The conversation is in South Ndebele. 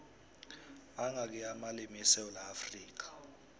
mangakhi amalimu esewula afrikha